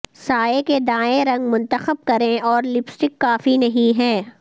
سائے کے دائیں رنگ منتخب کریں اور لپسٹک کافی نہیں ہیں